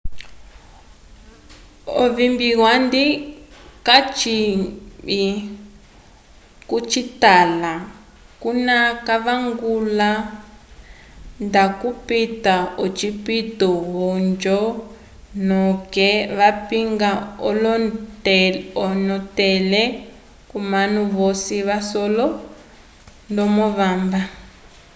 ovimbi andi catwibi cocitala cuna vavangule nda cupita ocipto ojo noke vapinga onetele comanu vosi vasole ndomo vamba